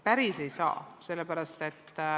Päris ei saa.